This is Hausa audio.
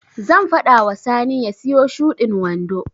Zan faɗa wa Sani ya siyo shudin wando.